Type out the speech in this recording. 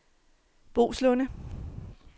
Boeslunde